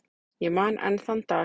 Ég man enn þann dag.